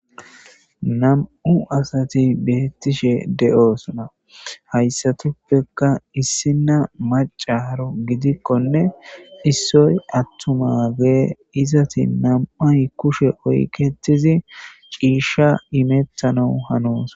Nam'u asati betishe deosona haysatupeka issina nacaro gidikkone issoy atumma adde gizati nam'ay kushshe oyiketizi cisha imetanawu hanosona.